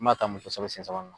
n m'a ta